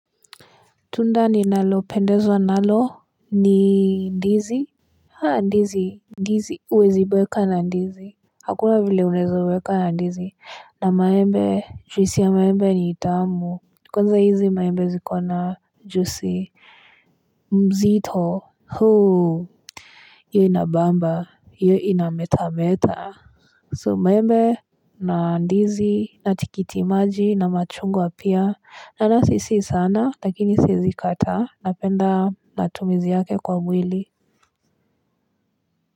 Tunda ni nalo pendezwa nalo ni ndizi Ha ndizi Ndizi huwezi boeka na ndizi Hakuna vile unaeza uweka na ndizi na maembe juisi ya maembe ni tamu kwanza hizi maembe zikona juisi mzito huu hio inabamba hiyo inametameta So maembe na ndizi natikitimaji na machungw apia anasi si sana lakini siezi kataa napenda natumizi yake kwa mwili.